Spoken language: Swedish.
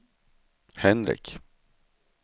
Henrik